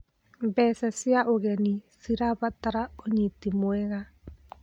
Mbeca cia ũgeni cirabatara ũnyiti mwega.